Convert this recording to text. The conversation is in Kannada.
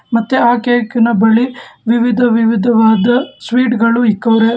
ಮತ್ತು ಆ ಕೇಕಿ ನ ಬಳಿ ವಿವಿಧ ವಿವಿಧವಾದ ಸ್ವೀಟ್ ಗಳು ಇಕ್ಕವ್ರೆ.